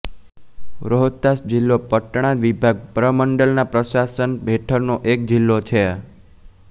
રોહતાસ જિલ્લો પટણા વિભાગ પ્રમંડલના પ્રશાસન હેઠળનો એક જિલ્લો છે